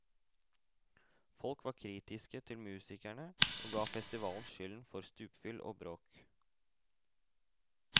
Folk var kritiske til musikerne, og ga festivalen skylden for stupfyll og bråk.